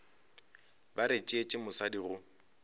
ba re tšeetše mosadi go